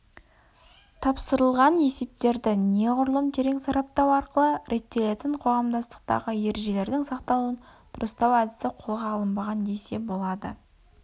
тапсырылған есептерді неғұрлым терең сараптау арқылы реттелетін қоғамдастықтағы ережелердің сақталуын дұрыстау әдісі қолға алынбаған десе болады